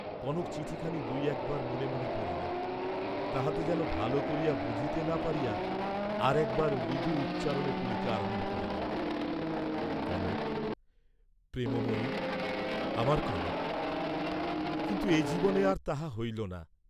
কনক চিঠিখানি দুই একবার মনে মনে পড়িল, তাহাতে যেন ভাল করিয়া বুঝিতে না পারিয়া আর একবার মৃদু উচ্চারণে পড়িতে আরম্ভ করিল, কনক, প্রেমময়ি, আমার কনক, কিন্তু এ জীবনে আর তাহা হইল না।